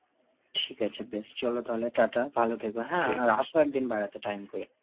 ঠিক আছে বেশ চলো তাহলে ta-ta, ভালো থেকো হ্যাঁ আর আসো একদিন বেড়াতে time করে.